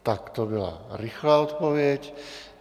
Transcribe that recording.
Tak to byla rychlá odpověď.